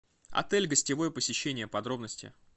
отель гостевое посещение подробности